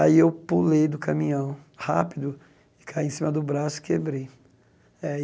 Aí eu pulei do caminhão rápido, e caí em cima do braço e quebrei aí.